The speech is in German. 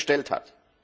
bestellt hat.